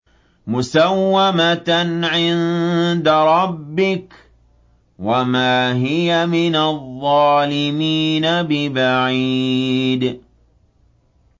مُّسَوَّمَةً عِندَ رَبِّكَ ۖ وَمَا هِيَ مِنَ الظَّالِمِينَ بِبَعِيدٍ